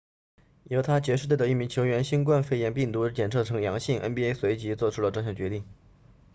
犹他爵士队的一名球员新冠肺炎病毒检测呈阳性 nba 随即做出了这项决定